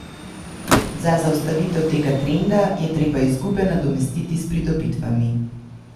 Za zaustavitev tega trenda je treba izgube nadomestiti s pridobitvami.